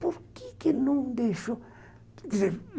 Por que que não deixou?